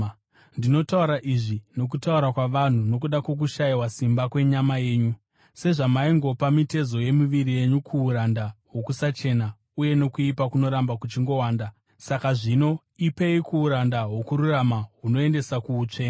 Ndinotaura izvi nokutaura kwavanhu nokuda kwokushayiwa simba kwenyama yenyu. Sezvamaingopa mitezo yemiviri yenyu kuuranda hwokusachena uye nokuipa kunoramba kuchingowanda, saka zvino ipei kuuranda hwokururama hunoendesa kuutsvene.